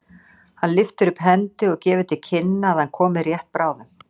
Hann lyftir upp hendi og gefur til kynna að hann komi rétt bráðum.